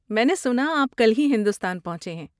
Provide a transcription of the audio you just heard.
میں نے سنا آپ کل ہی ہندوستان پہنچے ہیں۔